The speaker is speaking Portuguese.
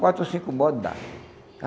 Quatro ou cinco bode dá.